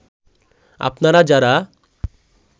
আপনারা যারা